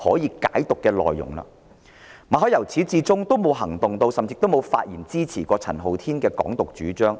由始至終，馬凱也沒有作出任何行動，甚至未有發言支持陳浩天的"港獨"主張。